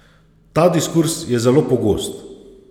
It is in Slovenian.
Ta diskurz je zelo pogost.